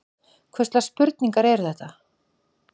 Hvurslags spurningar eru þetta?